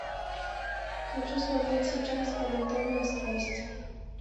хочу смотреть сейчас анатомия страсти